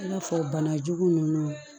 I n'a fɔ banajugu ninnu